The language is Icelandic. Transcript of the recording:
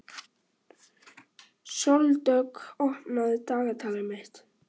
Sóldögg, opnaðu dagatalið mitt.